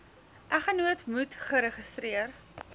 eggenoot moet geregistreer